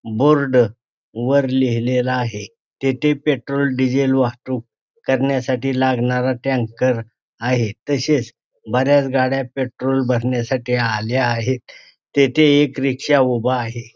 Board वर लिहिलेला आहे तेथे पेट्रोल डिझेल वाहतूक करण्यासाठी लागणारा टँकर आहे तसेच बऱ्याच गाड्या पेट्रोल भरण्यासाठी आल्या आहेत तेथे एक रिक्षा उभा आहे.